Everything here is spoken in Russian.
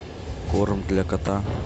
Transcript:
корм для кота